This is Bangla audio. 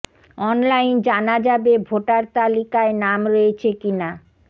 অনলাইন জানা যাবে ভোটার তালিকায় নাম রয়েছে কি না